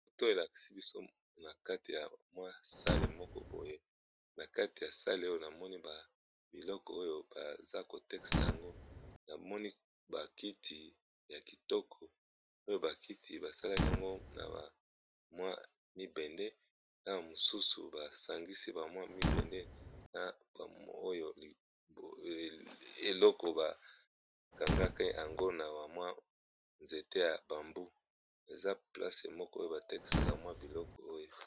Photo elaksi biso na kati ya mwa sale moko boye ,na kati ya sale oyo namoni ba biloko oyo baza kotekisa yango, namoni bakiti ya kitoko oyo bakiti basalaki yango na ba mwa libende, na mosusu basangisi ba mwa libende eloko bakangaka yango na bamwa nzete ya bambu, eza place moko oyo batekisaka mwa biloko oyo.